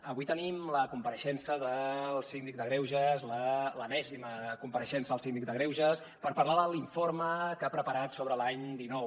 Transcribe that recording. avui tenim la compareixença del síndic de greuges l’enèsima compareixença del síndic de greuges per parlar de l’informe que ha preparat sobre l’any dinou